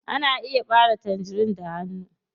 Ana iya ɓare tangerin da hanu.